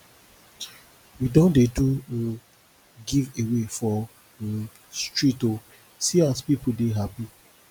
we don dey do um give away for um street o see as pipu dey hapi